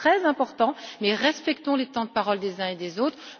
Il est très important, mais respectons les temps de parole des uns et des autres.